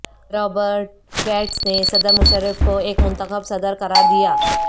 Robert Gates نے صدر مشرف کو ایک منتخب صدر قرار دیا